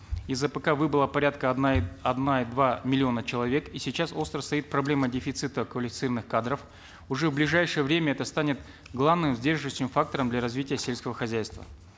из апк выбыло порядка одна и одна и два миллиона человек и сейчас остро стоит проблема дефицита квалифицированных кадров уже в ближайшее время это станет главным сдерживающим фактором для развития сельского хозяйства